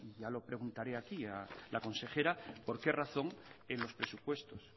ya lo preguntaré aquí a la consejera por qué razón en los presupuestos